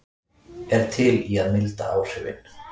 Er til í að milda áhrifin